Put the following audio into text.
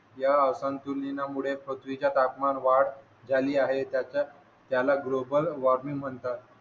या असंतुलनामुळे पृथ्वीच्या तापमान वाढ झाली आहे त्याला ग्लोबल वार्मिंग म्हणतात